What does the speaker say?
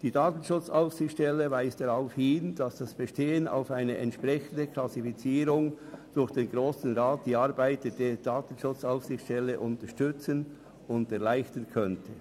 Die DSA weist darauf hin, dass das Bestehen auf eine entsprechende Klassifizierung durch den Grossen Rat die Arbeit der DSA unterstützen und erleichtern könnte.